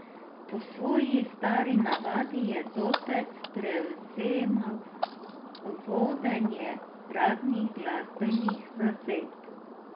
Po svoji stari navadi je zopet prevzemal vodenje raznih glasbenih zasedb.